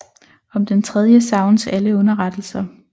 Om den tredje savnes alle underrettelser